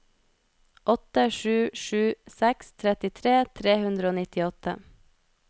åtte sju sju seks trettitre tre hundre og nittiåtte